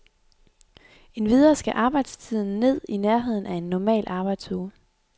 Endvidere skal arbejdstiden ned i nærheden af en normal arbejdsuge.